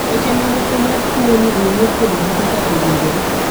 weche ma moko mar tuo ni owuo kuom gi kaka owinjore.